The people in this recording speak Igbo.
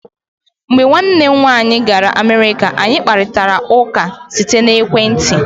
Mgbe nwannem nwaanyị gara Amerika, anyị kparitara ụka site n'ekwenti.